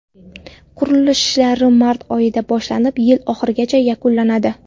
Qurilish ishlari mart oyida boshlanib, yil oxirigacha yakunlanadi.